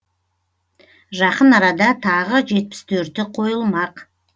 жақын арада тағы жетпіс төрті қойылмақ